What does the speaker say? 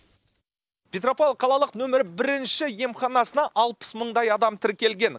петропавл қалалық нөмірі бірінші емханасына алпыс мыңдай адам тіркелген